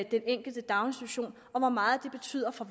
enkelte daginstitution og hvor meget det betyder for